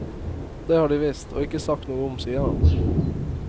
Det har de visst, og ikke sagt noe om, sier han.